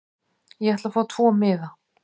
Ég ætla að fá tvo miða.